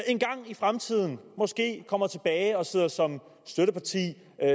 en gang i fremtiden måske kommer tilbage og sidder som støtteparti